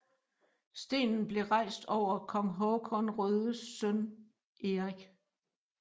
Stenen blev rejst over kong Håkan Rödes søn Erik